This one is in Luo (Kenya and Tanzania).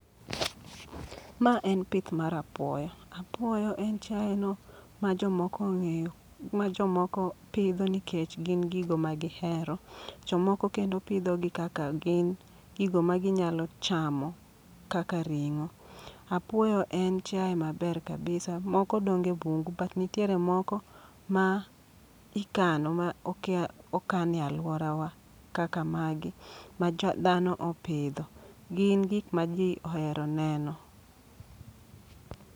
Ma en pith mar apuoyo, apuoyo en chiaye no ma jomoko ong'eyo, ma jomoko pidho nikech gin gigo ma gihero. Jomoko kendo pidho gi kaka gin gigo ma ginyalo chamo, kaka ring'o. Apuoyo en chiaye maber kabisa, moko donge bungu but nitiere moko mikano ma okea okan e alwora wa kaka magi ma dhano opidho. Gin gik ma dhano ohero neno.